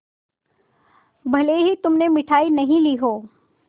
भले ही तुमने मिठाई नहीं ली हो